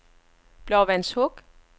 Blåvandshuk